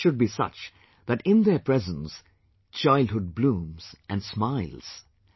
Toys should be such that in their presence childhood blooms and smiles